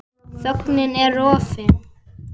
Þögnin er rofin.